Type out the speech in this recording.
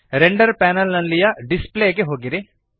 render panel ನಲ್ಲಿಯ display ಗೆ ಹೋಗಿರಿ